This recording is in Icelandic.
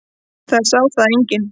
Það sá þá enginn.